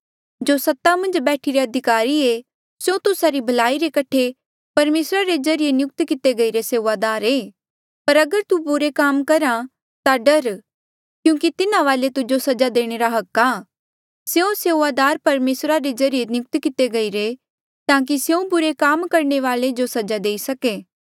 जो सत्ता मन्झ बैठिरे अधिकारी ऐें स्यों तुस्सा री भलाई रे कठे परमेसरा रे ज्रीए नियुक्त किते गईरे सेऊआदार ऐें पर अगर तू बुरे काम करहे ता डर क्यूंकि तिन्हा वाले तुजो सजा देणे रा हक आ स्यों सेऊआदार परमेसरा रे ज्रीए नियुक्त किते गईरे ताकि स्यों बुरे काम करणे वाले जो सजा देई सके